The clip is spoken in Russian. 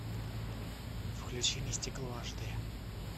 включи мне стекло аш д